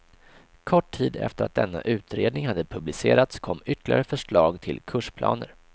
Kort tid efter att denna utredning hade publicerats kom ytterligare förslag till kursplaner.